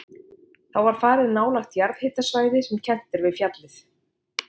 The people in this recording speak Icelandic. Þá var farið á nálægt jarðhitasvæði sem kennt er við fjallið